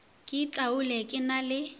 ke itaole ke na le